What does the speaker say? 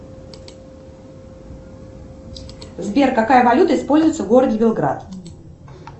сбер какая валюта используется в городе белград